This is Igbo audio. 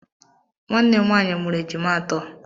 Nwannem nwaanyị mụrụ ejima atọ.